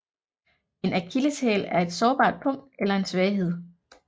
En akilleshæl er et sårbart punkt eller en svaghed